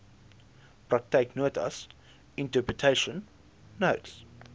praktyknotas interpretation notes